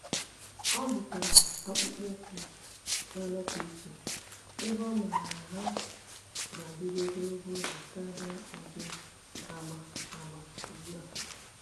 ọ́ zụ̀tárà akpụkpọ́ụkwụ́ nà-ànọ́pụ́ ìchè ebe ọ́ màrà na há ga-adị́rụ́ ogologo oge kàrị́a ụ́dị́ agba agba ugbu a.